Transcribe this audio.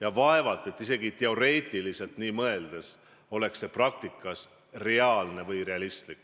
ja isegi kui me teoreetiliselt võiks sellele mõelda, siis vaevalt et see praktikas oleks reaalne.